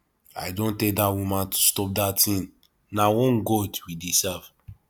i don tell dat woman to stop dat thing na one god we dey serve